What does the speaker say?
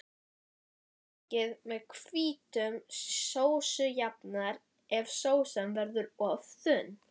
Þykkið með hvítum sósujafnara ef sósan verður of þunn.